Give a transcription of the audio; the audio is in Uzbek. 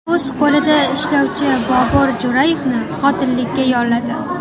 O‘z qo‘lida ishlovchi Bobur Jo‘rayevni qotillikka yolladi.